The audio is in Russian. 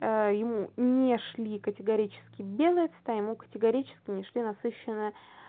ему не шли категорически белые цвета ему категорически не шли насыщенные